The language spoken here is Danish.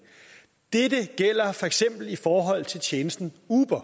dette gælder for eksempel i forhold til tjenesten uber